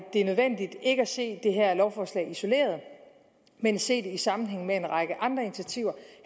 det nødvendigt ikke at se det her lovforslag isoleret men se det i sammenhæng med en række andre initiativer